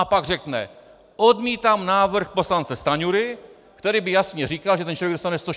A pak řekne: "Odmítám návrh poslance Stanjury, který by jasně říkal, že ten člověk dostane 160 korun."